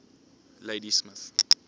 ladysmith